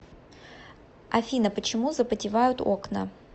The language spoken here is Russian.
афина почему запотевают окна